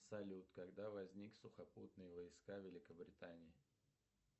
салют когда возникли сухопутные войска великобритании